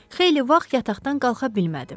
Xeyli vaxt yataqdan qalxa bilmədi.